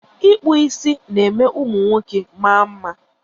Ịkpụ isi ná-eme ụmụ nwoke maa mma.